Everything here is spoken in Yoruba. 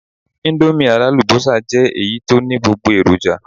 Íńdómì alálùbọ́sà jẹ́ èyí tó ní gbogbo èròjà.